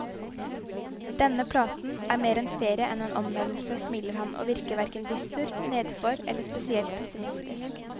Denne platen er mer en ferie enn en omvendelse, smiler han, og virker hverken dyster, nedfor eller spesielt pessimistisk.